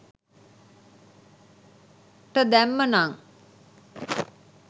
ට දැම්ම නං